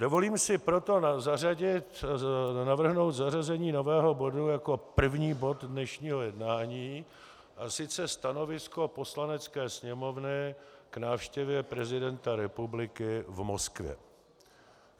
Dovolím si proto navrhnout zařazení nového bodu jako první bod dnešního jednání, a sice Stanovisko Poslanecké sněmovny k návštěvě prezidenta republiky v Moskvě.